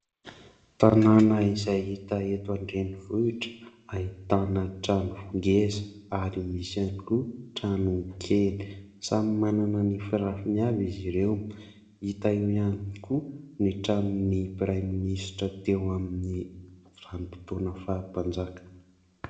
Tanàna izay hita eto an-drenivohitra ahitana trano ngeza ary misy ihany koa trano kely. Samy manana ny firafiny avy izy ireo. Hita eo ihany koa ny tranon'ny Praiministra teo amin'ny vanim-potoana faha-mpanjaka.